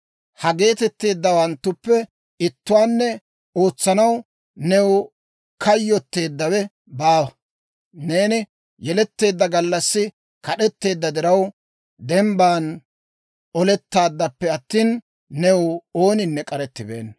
Ha geetetteeddawanttuppe ittuwaanne ootsanaw new kayyotteeddawe baawa. Neeni yeletteedda gallassi kad'etteedda diraw, dembban olettaaddappe attina, new ooninne k'arettibeenna.